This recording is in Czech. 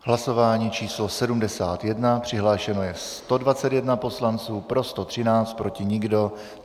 Hlasování číslo 71, přihlášeno je 121 poslanců, pro 113, proti nikdo.